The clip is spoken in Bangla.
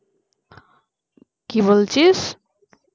কি বলছিস